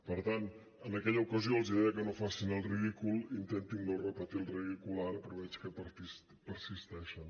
per tant en aquella ocasió els deia que no facin el ridícul intentin no repetir el ridícul ara però veig que persisteixen